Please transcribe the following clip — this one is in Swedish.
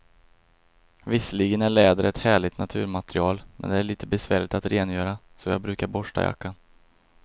Visserligen är läder ett härligt naturmaterial, men det är lite besvärligt att rengöra, så jag brukar borsta jackan.